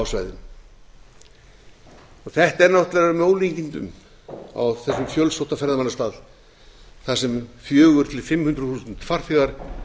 svæðinu þetta er náttúrlega með ólíkindum á þessum fjölsótta ferðamannastað þar sem fjögur hundruð til fimm hundruð þúsund farþegar